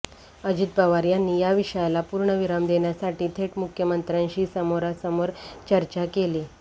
अजित पवार यांनी या विषयाला पूर्णविराम देण्यासाठी थेट मुख्यंमंत्र्यांशी समोरासमोर चर्चा केली